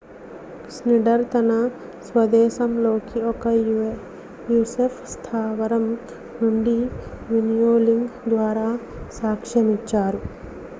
Schneider తన స్వదేశంలోని ఒక usaf స్థావరం నుండి వీడియోలింక్ ద్వారా సాక్ష్యమిచ్చారు